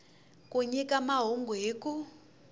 ku nyika mahungu hi ku